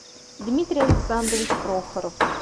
дмитрий александрович прохоров